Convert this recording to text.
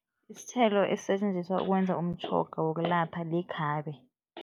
Isithelo esisetjenziswa ukwenza umtjhoga wokulapha likhabe.